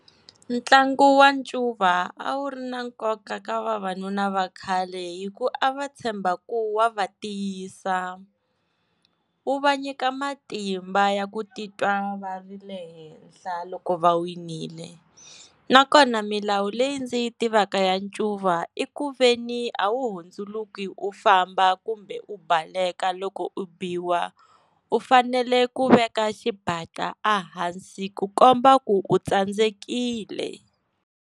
Ntlangu wa ncuva a wu ri na nkoka ka vavanuna vakhale hi ku a va tshemba ku wa va tiyisa, wu va nyika matimba ya ku titwa va ri le henhla loko va winile na kona milawu leyi ndzi yi tivaka ya ncuva i ku ve ni a wu hundzuluka u famba kumbe u baleka loko u biwa u fanele ku veka xibatla ehansi ku komba ku u tsandzekile.